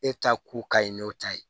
E ta ko ka ɲi n'o ta ye